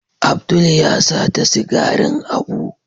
Abdul ya sata sigarin Abu.